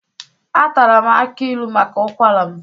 Atara m akị ilu maka ụkwara m